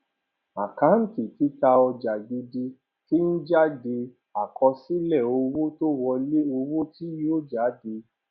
àkáńtì títà ojà gidi ti ń jáde àkọsílẹ owó tó wọlé owó tí yóò jáde